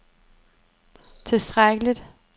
tilstrækkeligt